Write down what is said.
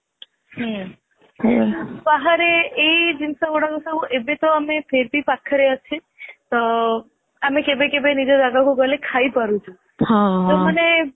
ହୁଁ ବାହାରେ ଇଏ ଜିନିଷ ଗୁଡାକ ସବୁ ଏବେ ତ ଫିର ଵ ଆମେ ପାଖରେ ଅଛେ ତ ଆମେ କେବେ କେବେ ନିଜ ଜାଗାକୁ ଗଲେ ଖାଇ ପାରୁଛେ ମାନେ